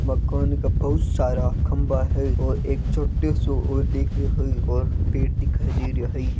मकान का बहुत सारा खभा है और एक छोटू सो दिख रहियो है और पड़े दिखाय दे रहियो है।